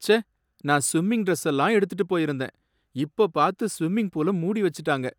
ச்சே! நான் ஸ்விம்மிங் டிரஸ்ஸெல்லாம் எடுத்துட்டு போயிருந்தேன், இப்ப பார்த்து ஸ்விம்மிங் பூல மூடி வச்சுட்டாங்க